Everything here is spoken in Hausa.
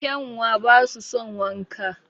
Kyanwa basu son wanka